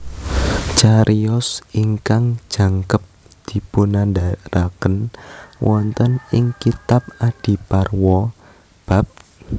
Cariyos ingkang jangkep dipunandharaken wonten ing kitab Adiparwa bab